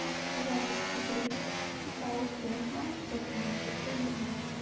запись игры саутгемптон против манчестер юнайтед